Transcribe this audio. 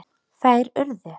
Þær urðu